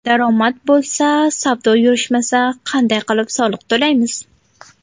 Daromad bo‘lmasa, savdo yurishmasa qanday qilib soliq to‘laymiz?